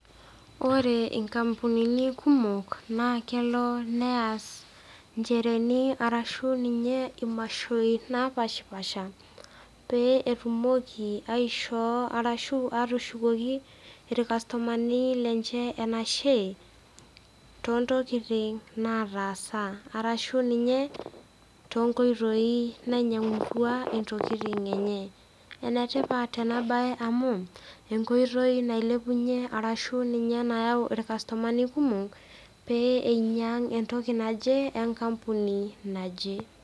Ore inkampunini kumok naa kelo neas inchereeni ashu ninye imashoi napaashipaasha pee etumoki aishoo arashu atushukoki ilkastomani lenye enashe, toontokin nataasa arashu ninye toonkoitoi nainyang'utua intokitin enye. Ene tipat ena baye amu, enkoitoi nailepunye arashu ninye nayau ilkastomani kumok peyie ninye einyang' intokin enkapuni naje.